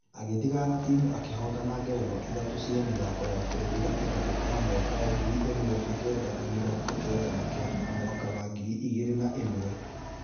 Agĩthigana timũ ĩkĩhotana ngerenwa ithatũ cia mĩthako ya bũrũri gatagatĩ wa mwaka ngiri imwe na kenda na mĩrongo kenda na kenda na mwaka wa ngiri igĩrĩ na ĩmwe.